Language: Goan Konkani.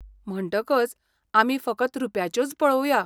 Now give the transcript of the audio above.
म्हणटकच आमी फकत रुप्याच्योच पळोवया.